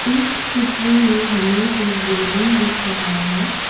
इस चित्र में हमें एक बिल्डिंग दिख रहा है।